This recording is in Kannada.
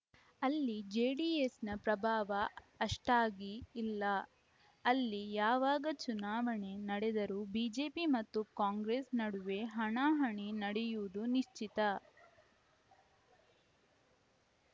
ಅಲ್ಲಿ ಜೆಡಿಎಸ್‌ನ ಪ್ರಭಾವ ಅಷ್ಟಾಗಿ ಇಲ್ಲ ಅಲ್ಲಿ ಯಾವಾಗ ಚುನಾವಣೆ ನಡೆದರೂ ಬಿಜೆಪಿ ಮತ್ತು ಕಾಂಗ್ರೆಸ್‌ ನಡುವೆ ಹಣಾಹಣಿ ನಡೆಯುವುದು ನಿಶ್ಚಿತ